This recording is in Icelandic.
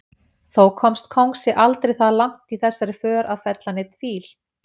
Þó komst kóngsi aldrei það langt í þessari för að fella neinn fíl.